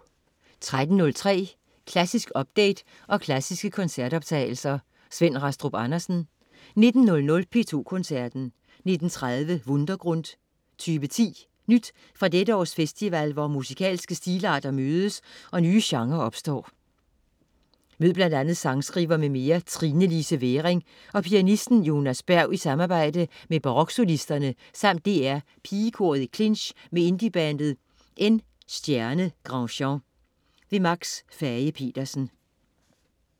13.03 Klassisk update og klassiske koncertoptagelser. Svend Rastrup Andersen 19.00 P2 Koncerten. 19.30 Wundergrund 2010. Nyt fra dette års festival hvor musikalske stilarter mødes og nye genrer opstår. Mød bl.a. sangkriver m.m. Trinelise Væring og pianisten Jonas Berg i samarbejde med Baroksolisterne samt DR Pigekoret i clinch med indiebandet N*Granjean. Max Fage-Petersen